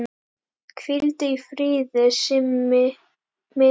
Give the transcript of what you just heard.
Hvíldu í friði Simmi minn.